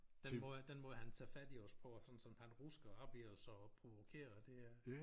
Den måde den måde han tager fat i os på og sådan som han rusker op i os og provokerer og det er